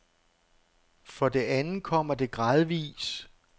For det andet kommer det gradvis.